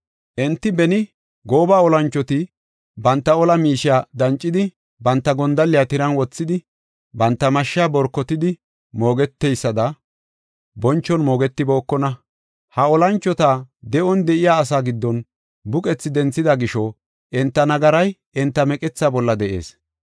Enti beni gooba olanchoti banta ola miishiya dancidi banta gondalliya tiran wothidi banta mashsha borkotidi mogeteysada bonchon mogetibookona. Ha olanchota de7on de7iya asa giddon buqethi denthida gisho enta nagaray enta meqetha bolla de7ees.